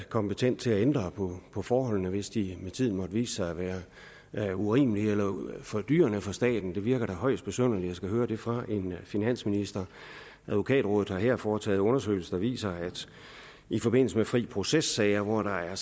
kompetent til at ændre på forholdene hvis de med tiden måtte vise sig at være urimelige eller fordyrende for staten det virker da højst besynderligt at skulle høre det fra en finansminister advokatrådet har her foretaget en undersøgelse der viser at i forbindelse med fri proces sager hvor der er